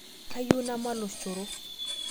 Kayieu namat lochoro